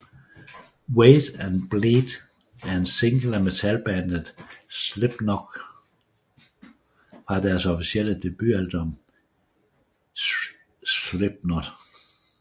Wait and Bleed er en single af metalbandet Slipknot fra deres officielle debutalbum Slipknot